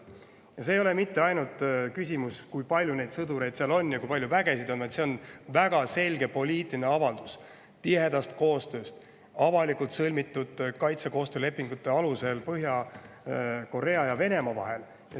ei ole ainult see, kui palju neid sõdureid seal on ja kui vägi seal on, vaid ka see, et see on väga selge poliitiline avaldus tihedast koostööst, mille aluseks on avalikult sõlmitud kaitsekoostöölepingud Põhja-Korea ja Venemaa vahel.